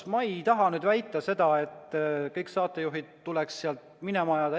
Ma ei taha väita seda, et kõik saatejuhid tuleks sealt minema ajada.